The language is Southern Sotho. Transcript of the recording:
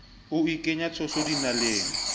o ikenya tshotso dinaleng o